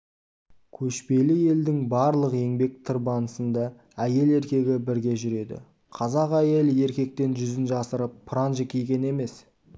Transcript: көшпелі елдің барлық еңбек тырбанысында әйел-еркегі бірге жүреді қазақ әйелі еркектен жүзін жасырып паранжі киген емес